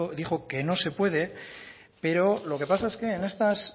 dijo que no se puede pero lo que pasa es que en esas